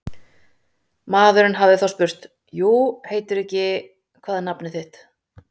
Maðurinn hafi þá spurt: jú heitirðu ekki, hvað er nafnið þitt?